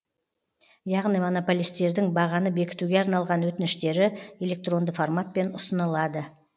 яғни монополистердің бағаны бекітуге арналған өтініштері электронды форматпен ұсынылады